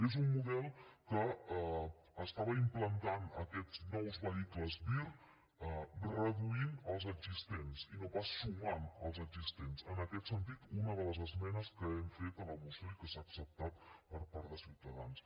és un model que estava implantant aquests nous vehicles vir reduint els existents i no pas sumant als existents en aquest sentit una de les esmenes que hem fet a la moció i que s’ha acceptat per part de ciutadans